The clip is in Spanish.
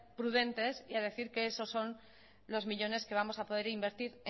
prudentes y a decir que esos son los millónes que vamos a poder invertir